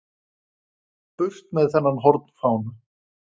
Burt með þennan hornfána!